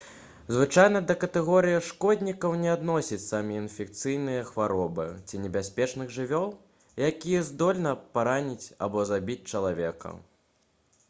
звычайна да катэгорыі шкоднікаў не адносяць самі інфекцыйныя хваробы ці небяспечных жывёл якія здольны параніць або забіць чалавека